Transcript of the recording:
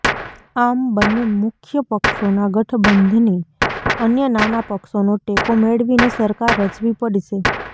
આમ બંને મુખ્ય પક્ષોના ગઠબંધને અન્ય નાના પક્ષોનો ટેકો મેળવીને સરકાર રચવી પડશે